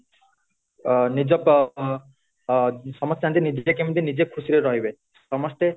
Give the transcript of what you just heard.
ଅ ନିଜ ଅ ସମସ୍ତେ ଚାହାନ୍ତି ନିଜେ କେମିତି ନିଜେ ଖୁସିରେ ରହିବେ ସମସ୍ତେ